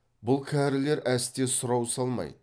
бұл кәрілер әсте сұрау салмайды